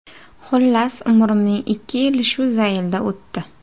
Xullas, umrimning ikki yili shu zaylda o‘tdi.